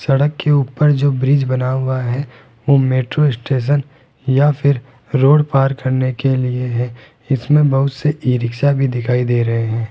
सड़क के ऊपर जो ब्रिज बना हुआ है वो मेट्रो स्टेशन या फिर रोड पार करने के लिए है इसमें बहुत से ई रिक्शा भी दिखाई दे रहे हैं।